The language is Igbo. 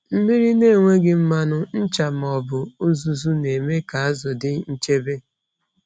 Mmiri na-enweghị mmanụ, ncha ma ọ bụ uzuzu na-eme ka azụ dị nchebe.